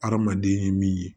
Hadamaden ye min ye